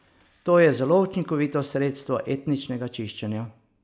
To je zelo učinkovito sredstvo etničnega čiščenja.